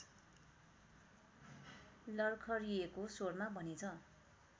लरखरिएको स्वरमा भनेछ